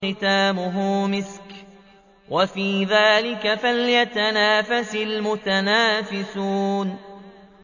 خِتَامُهُ مِسْكٌ ۚ وَفِي ذَٰلِكَ فَلْيَتَنَافَسِ الْمُتَنَافِسُونَ